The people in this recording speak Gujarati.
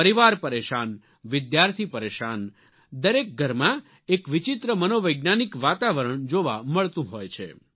પરિવાર પરેશાન વિદ્યાર્થી પરેશાન શિક્ષક પરેશાનદરેક ઘરમાં એક વિચિત્ર મનોવૈજ્ઞાનિક વાતાવરણ જોવા મળતું હોય છે